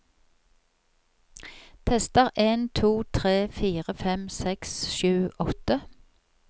Tester en to tre fire fem seks sju åtte